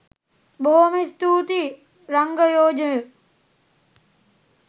බොහොම ස්තුතියි රංගයෝජය.